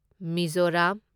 Mizoram